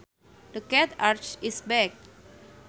The cat arched its back